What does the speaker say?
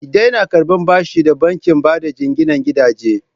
Ki daina karɓan bashi da bankin bada jinginan gidaje!